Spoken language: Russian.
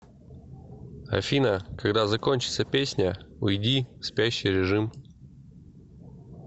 афина когда закончится песня уйди в спящий режим